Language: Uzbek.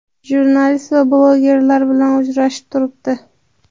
jurnalist va blogerlar bilan uchrashib turibdi.